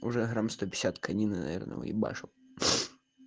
уже грамм конины наверное ебашу